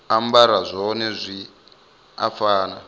ambara zwone zwi a fana